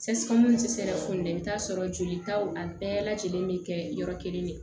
fudɛn i bɛ t'a sɔrɔ jolitaw a bɛɛ lajɛlen bɛ kɛ yɔrɔ kelen de ye